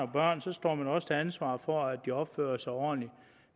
børn står man også til ansvar for at de opfører sig ordentligt